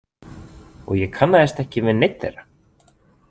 Og ég kannaðist ekki við neinn þeirra.